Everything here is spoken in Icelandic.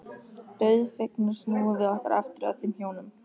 Dauðfegnar snúum við okkur aftur að þeim hjónum.